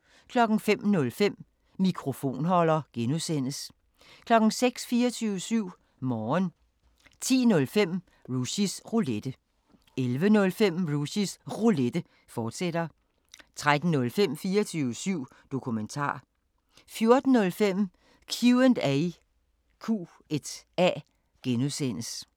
05:05: Mikrofonholder (G) 06:00: 24syv Morgen 10:05: Rushys Roulette 11:05: Rushys Roulette, fortsat 13:05: 24syv Dokumentar 14:05: Q&A (G)